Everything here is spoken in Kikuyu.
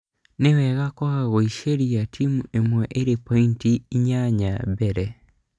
Nĩwega kwaga gũĩciria timũ ĩmwe ĩrĩ pointi inyanya mbere